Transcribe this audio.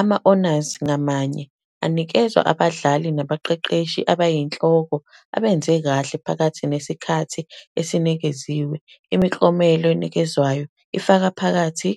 ama-honours ngamanye anikezwa abadlali nabaqeqeshi abayinhloko abenze kahle phakathi nesikhathi esinikeziwe. Imiklomelo enikezwayo ifaka phakathi.